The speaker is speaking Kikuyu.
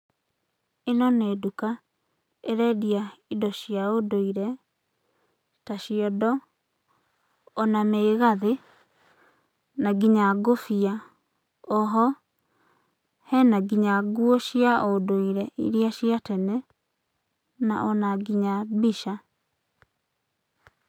Ĩno nĩ nduka ĩrendia indo cia ũndũire ta ciondo, ona mĩgathĩ, na nginya ngũbia, o ho hena nginya nguo cia ũndũire irĩa cia tene ona nginya mbica.